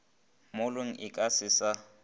mollong e ka se sa